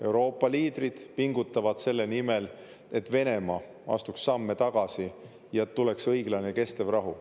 Euroopa liidrid pingutavad selle nimel, et Venemaa astuks samme tagasi ja et tuleks õiglane ja kestev rahu.